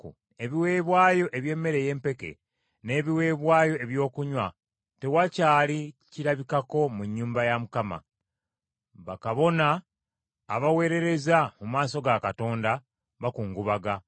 Ebiweebwayo eby’emmere ey’empeke n’ebiweebwayo eby’okunywa tewakyali kirabikako mu nnyumba ya Mukama . Bakabona abaweerereza mu maaso ga Katonda bakungubaga.